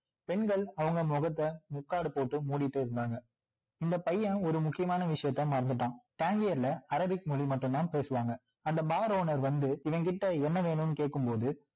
பெண்கள் அவங்க முகத்த முக்காடு போட்டு மூடிட்டு இருந்தாங்க இந்த பையன் ஒரு முக்கியமான விசயத்த மறந்துட்டான் அரேபிக் மொழி மட்டும் தான் பேசுவாங்க அந்த bar owner வந்து இவன் கிட்ட என்ன வேணும்னு கேட்கும் போது